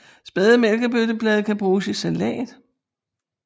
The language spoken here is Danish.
Spæde mælkebøtteblade kan bruges i salat